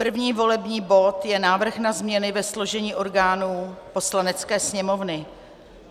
První volební bod je Návrh na změny ve složení orgánů Poslanecké sněmovny.